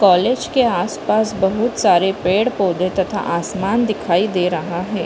College के आस-पास बहुत सारे पेड़ पौधे तथा आसमान दिखाई दे रहा है।